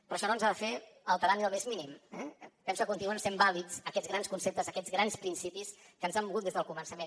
però això no ens ha de fer alterar ni el més mínim eh penso que continuen sent vàlids aquests grans conceptes aquests grans principis que ens han mogut des del començament